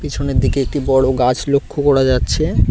পেছনের দিকে একটি বড় গাছ লক্ষ্য করা যাচ্ছে।